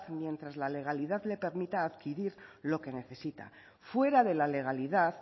mientras la legalidad le permita adquirir lo que necesita fuera de la legalidad